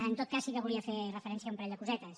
en tot cas sí que volia fer referència a un parell de cosetes